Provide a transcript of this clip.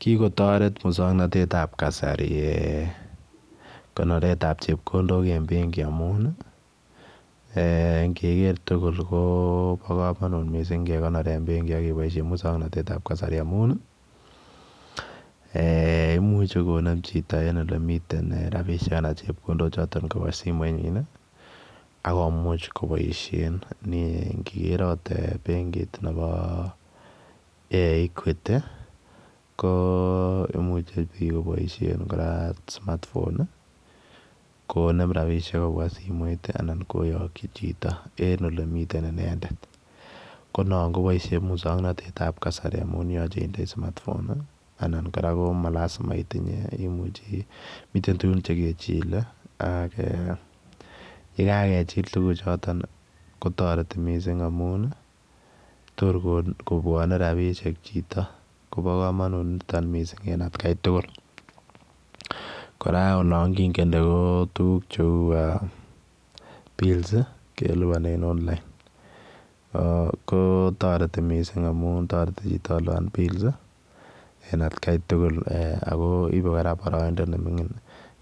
Kikotaret musangnatet ab kasari konoret ab chepkondook en benki amuun ii ingeker tugul kobaa kamanut ingekonoreen benkiit akebaisheen musangnatet ab kasari amuun ii eeh imuuchei konem chitoo rapisheek anan chepkondook chotoon kobaa simoit nyiin akomuuch kobaisheen ingeker akoot benkiit nebo equity ii ko imuchei biik kobaisheen kora [smartphone] ii konem rapisheek kobwaa simoit ii anan koyakyii chitoo en ole Miten inendet ko noon kobaishe musangnatet ab kasari amuun yachei inndai [smartphone] anan kora komalizima indoi miten tuguuk che kechile ak eeh ye kagechiil tuguuk chotoon kotaretii missing amuun ii toor kobwane rapisheek chitoo koba kamanut nitoon missing en at gai tugul kora olaan kiingende ko tuguuk che uu eeh [bills] ii kelupaneen [online] ko taretii missing amuun taretii chitoo kolupaan [build] ii en at gai tugul ako kora ibe baraindaa ne mingiin